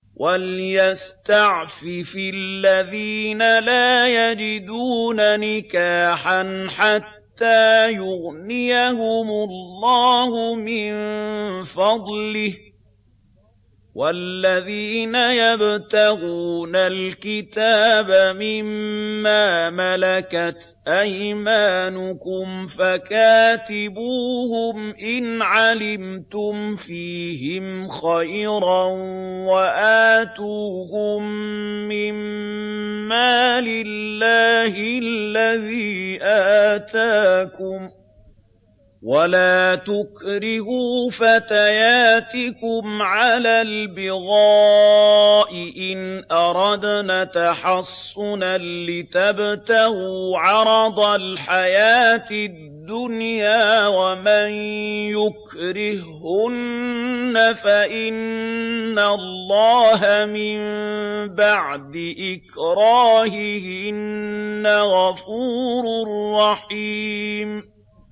وَلْيَسْتَعْفِفِ الَّذِينَ لَا يَجِدُونَ نِكَاحًا حَتَّىٰ يُغْنِيَهُمُ اللَّهُ مِن فَضْلِهِ ۗ وَالَّذِينَ يَبْتَغُونَ الْكِتَابَ مِمَّا مَلَكَتْ أَيْمَانُكُمْ فَكَاتِبُوهُمْ إِنْ عَلِمْتُمْ فِيهِمْ خَيْرًا ۖ وَآتُوهُم مِّن مَّالِ اللَّهِ الَّذِي آتَاكُمْ ۚ وَلَا تُكْرِهُوا فَتَيَاتِكُمْ عَلَى الْبِغَاءِ إِنْ أَرَدْنَ تَحَصُّنًا لِّتَبْتَغُوا عَرَضَ الْحَيَاةِ الدُّنْيَا ۚ وَمَن يُكْرِههُّنَّ فَإِنَّ اللَّهَ مِن بَعْدِ إِكْرَاهِهِنَّ غَفُورٌ رَّحِيمٌ